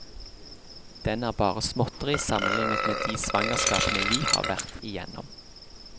Den er bare småtteri sammenlignet med de svangerskapene vi har vært igjennom.